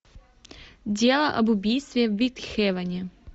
дело об убийстве в итхэвоне